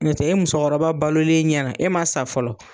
N'o tɛ e muso kɔrɔba balolen ɲɛna e man sa fɔlɔ.